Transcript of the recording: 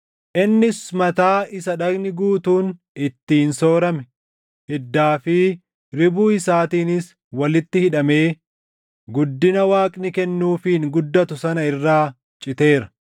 Innis mataa isa dhagni guutuun ittiin soorame, hiddaa fi ribuu isaatiinis walitti hidhamee guddina Waaqni kennuufiin guddatu sana irraa citeera.